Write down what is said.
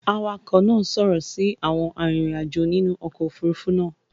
awakọ̀ náa ṣòro si Àwọn arinrin-ajo nínú okò òfurufú náa.